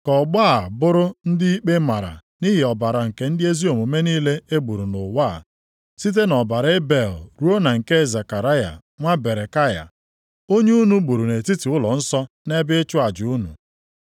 Ka ọgbọ a bụrụ ndị ikpe mara nʼihi ọbara nke ndị ezi omume niile e gburu nʼụwa, site nʼọbara Ebel ruo na nke Zekaraya nwa Berekaya, onye unu gburu nʼetiti ụlọnsọ nʼebe ịchụ aja unu.